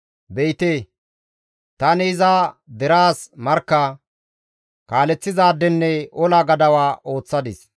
Be7ite, tani iza deraas markka, kaaleththizaadenne ola gadawa ooththadis.